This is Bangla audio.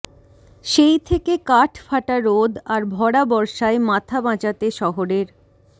সেই থেকে কাঠ ফাটা রোদ আর ভরা বর্ষায় মাথা বাঁচাতে শহরের